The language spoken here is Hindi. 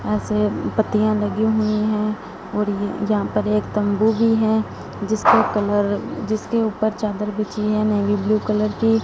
ऐसे पत्तियां लगी हुई हैं और ये यहां पर एक तंबू भी है जिसका कलर जिसके ऊपर चादर बिछी है नेवी ब्लू कलर की।